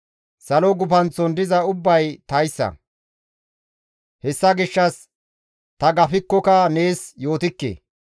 Salo gufanththon diza ubbay taassa; hessa gishshas ta gafikkoka nees yootikke.